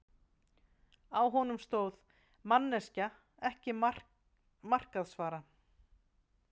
Á honum stóð: Manneskja- ekki markaðsvara.